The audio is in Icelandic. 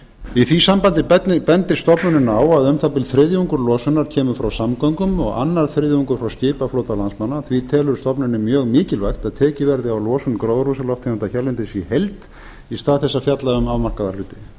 í því sambandi bendir stofnunin á að um það bil þriðjungur losunar kemur frá samgöngum og annar þriðjungur frá skipaflota landsmanna því telur stofnunin mjög mikilvægt að tekið verði á losun gróðurhúsalofttegunda hérlendis í heild í stað þess að fjalla um afmarkaða hluti